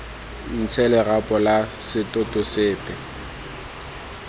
ntshe lerapo la setoto sepe